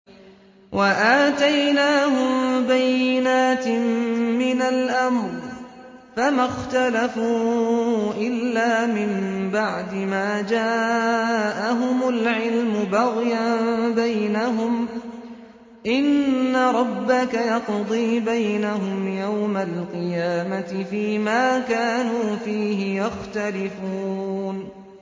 وَآتَيْنَاهُم بَيِّنَاتٍ مِّنَ الْأَمْرِ ۖ فَمَا اخْتَلَفُوا إِلَّا مِن بَعْدِ مَا جَاءَهُمُ الْعِلْمُ بَغْيًا بَيْنَهُمْ ۚ إِنَّ رَبَّكَ يَقْضِي بَيْنَهُمْ يَوْمَ الْقِيَامَةِ فِيمَا كَانُوا فِيهِ يَخْتَلِفُونَ